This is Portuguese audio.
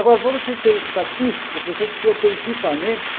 Agora, para você ser estatística, você precisa ter equipamento